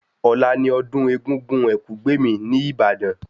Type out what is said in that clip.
Ọ̀la ni ọdún Egúngún Ẹ̀kúgbèmí ní Ìbàdàn